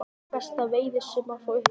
Eitt besta veiðisumarið frá upphafi